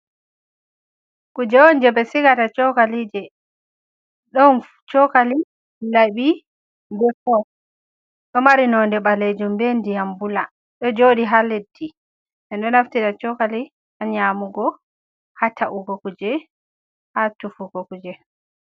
Kuje on jei ɓe sigata chokalije, ɗon chokali laɓi be fork ɗo mari nonde ɓalejum be ndiyam bula ɗo jooɗi ha leddi e ɗo naftira chokali ngan nyamugo, ha ta’ugo kuje ha tufugo kuje.